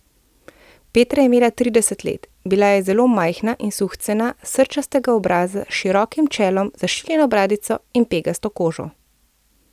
Petra je imela trideset let, bila je zelo majhna in suhcena, srčastega obraza s širokim čelom, zašiljeno bradico in pegasto kožo.